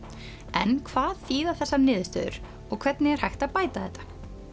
en hvað þýða þessar niðurstöður og hvernig er hægt að bæta þetta